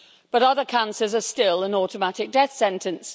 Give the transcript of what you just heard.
But other cancers are still an automatic death sentence.